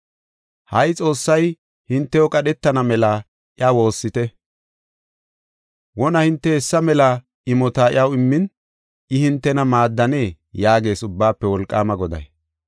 “Ha77i Xoossay hintew qadhetana mela iya woossite. Wona hinte hessa mela imota iyaw immin, I hintena maaddanee?” yaagees Ubbaafe Wolqaama Goday.